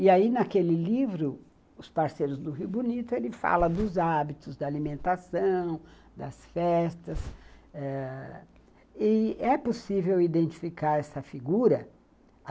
E aí, naquele livro, os parceiros do Rio Bonito, ele fala dos hábitos da alimentação, das festas, ãh e é possível identificar essa figura.